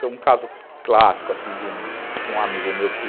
Tem um caso clássico, assim, de um amigo meu que...